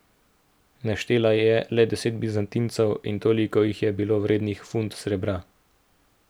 Naštela je le deset bizantincev in toliko jih je bilo vrednih funt srebra.